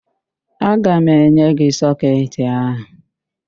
Aga m enye gị sọketị áhụ̀.